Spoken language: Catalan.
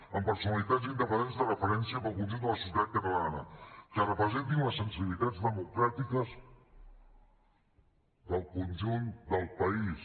amb personalitats independents de referència per al conjunt de la societat catalana que representin les sensibilitats democràtiques del conjunt del país